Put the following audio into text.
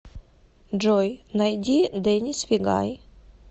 джой найди дэнис вигай